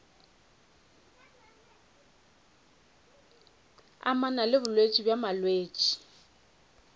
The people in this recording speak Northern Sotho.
amana le bolwetši bja molwetši